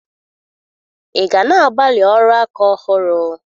Ị ga na-agbalị ọrụ aka ọhụrụ?